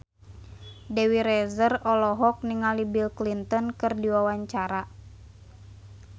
Dewi Rezer olohok ningali Bill Clinton keur diwawancara